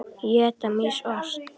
Éta mýs ost?